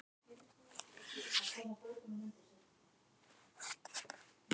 Skattareglurnar eru því hagstæðar fyrir félaga í lífeyrissjóðum.